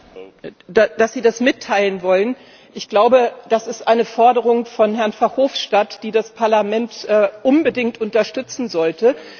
Herr Präsident! Dass Sie das mitteilen wollen, ich glaube, das ist eine Forderung von Herrn Verhofstadt, die das Parlament er unbedingt unterstützen sollte.